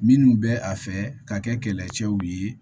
Minnu bɛ a fɛ ka kɛ kɛlɛcɛw ye